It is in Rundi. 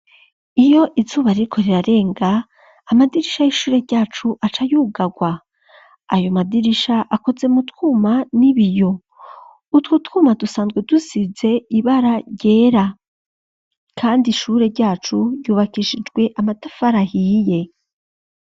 Iyo izuba ririko rirarenga amadirisha y'ishure ryacu acayugagwa, ayo madirisha akoze mu twuma n'ibiyo, utwo twuma dusanzwe dusize ibara ryera kandi ishure ryacu ryubakishijwe amatafari ahiye.